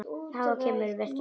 En það kemur, vertu viss.